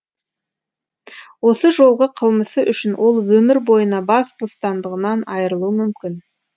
осы жолғы қылмысы үшін ол өмір бойына бас бостандығынан айрылуы мүмкін